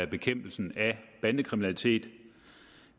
bekæmpelsen af bandekriminalitet